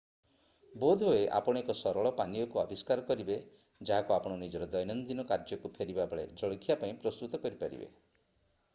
ବୋଧହୁଏ ଆପଣ ଏକ ସରଳ ପାନୀୟକୁ ଆବିଷ୍କାର କରିବେ ଯାହାକୁ ଆପଣ ନିଜର ଦୈନନ୍ଦିନ କାର୍ଯ୍ୟକୁ ଫେରିବାବେଳେ ଜଳଖିଆ ପାଇଁ ପ୍ରସ୍ତୁତ କରିପାରିବେ